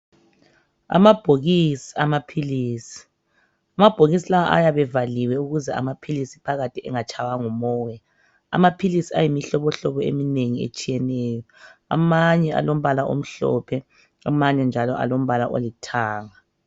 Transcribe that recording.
Amabhokisi amaphilisi. Amabhokisi lawa ayabe evaliwe ukuze amaphilisi phakathi engatshaywa ngumoya. Amaphilisi ayimihlobohlobo eminengi etshiyeneyo. Amanye alombala omhlophe amanye njalo alombala olithanga.